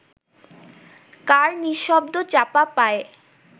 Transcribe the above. কার নিঃশব্দ চাপা পায়ে